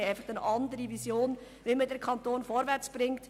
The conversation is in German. Wir haben schlicht eine andere Vision, wie man den Kanton vorwärts bringt.